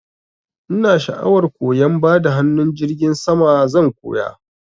Ina sha'awar koyan bada hanun jirgin sama, zan koya.